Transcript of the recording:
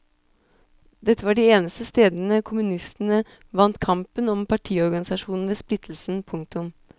Dette var de eneste stedene kommunistene vant kampen om partiorganisasjonen ved splittelsen. punktum